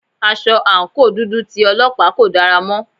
Aṣọ àǹkóò dúdú tí Ọlọ́pàá kò dára mọ́.